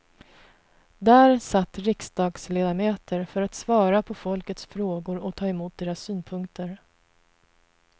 Där satt riksdagsledamöter för att svara på folkets frågor och ta emot deras synpunkter.